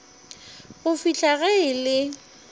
go fihla ge e le